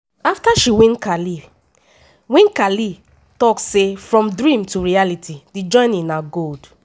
afta she win khelif win khelif tok say "from dreams to reality di journey na gold."